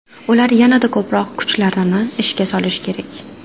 Ular yanada ko‘proq kuchlarini ishga solishi kerak.